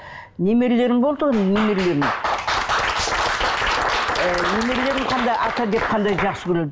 немерелерім болды ғой немерелерім ы немерелерім қандай ата деп қандай жақсы көреді